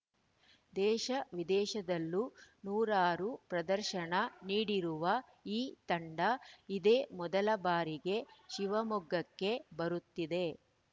ದೇಶವಿದೇಶದಲ್ಲೂ ನೂರಾರು ಪ್ರದರ್ಶನ ನೀಡಿರು ಈ ತಂಡ ಇದೇ ಮೊದಲ ಬಾರಿಗೆ ಶಿವಮೊಗ್ಗಕ್ಕೆ ಬರುತ್ತಿದೆ